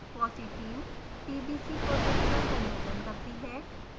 fossee team tbc project का संयोजन करती है